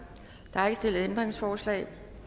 der er ikke stillet ændringsforslag